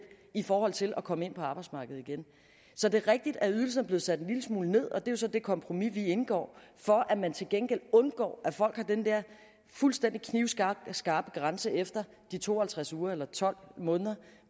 i forhold til at komme ind på arbejdsmarkedet igen så det er rigtigt at ydelsen er blevet sat en lille smule ned og det er jo så det kompromis vi indgår for at man til gengæld undgår at folk har den der fuldstændig knivskarpe grænse efter de to og halvtreds uger eller tolv måneder